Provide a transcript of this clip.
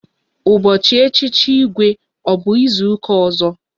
Ụbọchị echichi Igwe ọ bụ izuka ọzọ?